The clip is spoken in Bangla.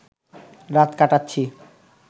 রাত কাটাচ্ছি